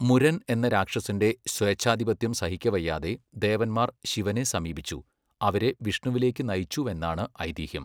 മുരൻ' എന്ന രാക്ഷസന്റെ സ്വേച്ഛാധിപത്യം സഹിക്കവയ്യാതെ ദേവന്മാർ ശിവനെ സമീപിച്ചു, അവരെ വിഷ്ണുവിലേക്ക് നയിച്ചുവെന്നാണ് ഐതിഹ്യം.